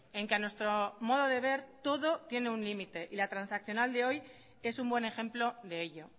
en que a nuestro modo de ver todo tiene un límite y la transaccional de hoy es un buen ejemplo de ello